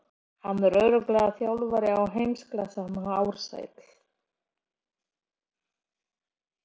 Hann er örugglega þjálfari í heimsklassa hann Ársæll.